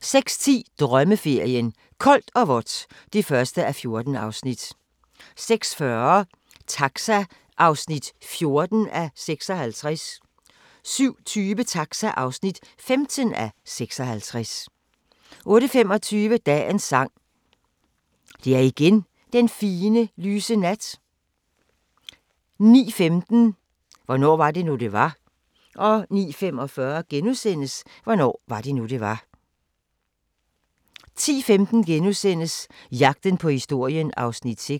06:10: Drømmeferien: Koldt og vådt (1:14) 06:40: Taxa (14:56)* 07:20: Taxa (15:56) 08:25: Dagens Sang: Det er igen den fine, lyse nat 09:15: Hvornår var det nu, det var? 09:45: Hvornår var det nu, det var? * 10:15: Jagten på historien (6:8)*